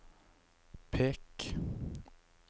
pek